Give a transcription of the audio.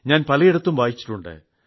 ഞാൻ പലയിടത്തും വായിച്ചിട്ടുണ്ട്